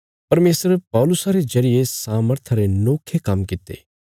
परमेशर पौलुसा रे जरिये सामर्था रे नोखे काम्म कित्ते